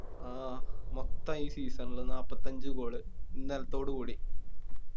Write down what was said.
ആ ഈ Season ൽ നാപ്പത്തഞ്ച് Goal ഇന്നലത്തോട് കൂടി